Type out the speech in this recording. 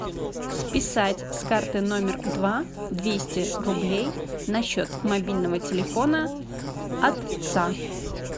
списать с карты номер два двести рублей на счет мобильного телефона отца